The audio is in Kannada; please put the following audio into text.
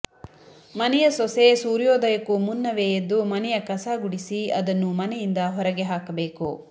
ಮನೆಯ ಸೊಸೆ ಸೂರ್ಯೋದಯಕ್ಕೂ ಮುನ್ನವೆ ಎದ್ದು ಮನೆಯ ಕಸ ಗುಡಿಸಿ ಅದನ್ನು ಮನೆಯಿಂದ ಹೊರಗೆ ಹಾಕಬೇಕು